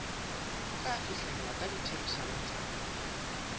tla fihlellwa ka ditherisano tsa